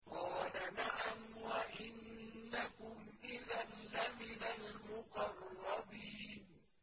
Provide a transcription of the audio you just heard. قَالَ نَعَمْ وَإِنَّكُمْ إِذًا لَّمِنَ الْمُقَرَّبِينَ